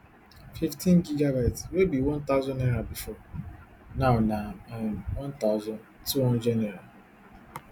fifteengb wey be one thousand naira bifor now na um one thousand, two hundred naira